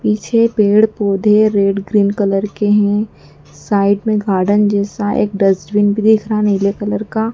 पीछे पेड़ पौधे रेड ग्रीन कलर के हैं साइड में गार्डन जैसा एक डस्टबीन भी दिख रहा नीले कलर का।